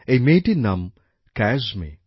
এই মেয়েটির নাম ক্যায়সমি